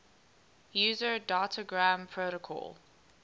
user datagram protocol